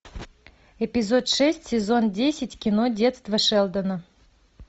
эпизод шесть сезон десять кино детство шелдона